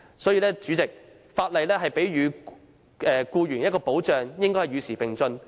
代理主席，法例賦予僱員的保障，應該與時並進。